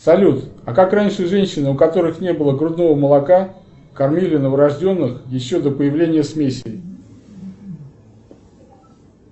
салют а как раньше женщины у которых не было грудного молока кормили новорожденных еще до появления смесей